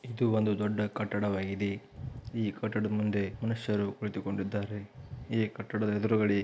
ಇದು ಒಂದು ದೊಡ್ಡ ಕಟ್ಟವಾಗಿದೆ ಈ ಕಟ್ಟಡದ ಮುಂದೆ ಮನುಷ್ಯರು ಕುಳಿತುಕೊಂಡಿದ್ದಾರೆ ಈ ಕಟ್ಟಡದ ಹೆದುರುಗಡೆ --